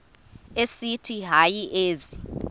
esithi hayi ezi